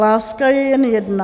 Láska je jen jedna.